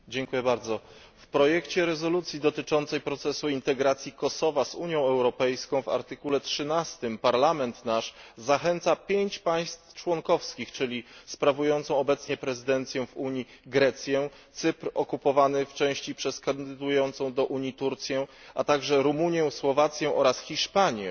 W artykule 13 projektu rezolucji dotyczącej procesu integracji Kosowa z Unią Europejską Parlament Europejski zachęca pięć państw członkowskich, czyli sprawującą obecnie prezydencję w Unii Grecję, Cypr, okupowany w części przez kandydującą do Unii Turcję, a także Rumunię, Słowację oraz Hiszpanię